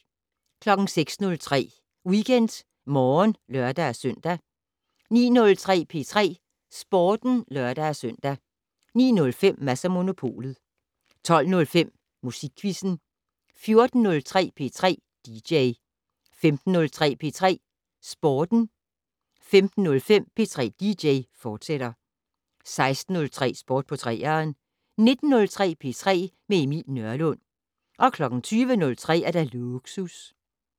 06:03: WeekendMorgen (lør-søn) 09:03: P3 Sporten (lør-søn) 09:05: Mads & Monopolet 12:05: Musikquizzen 14:03: P3 dj 15:03: P3 Sporten 15:05: P3 dj, fortsat 16:03: Sport på 3'eren 19:03: P3 med Emil Nørlund 20:03: Lågsus